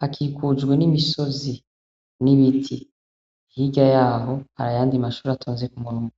Hakikujwe n' imisozi n' ibiti. Hirya yaho, hari ayandi mashure atonze ku murongo.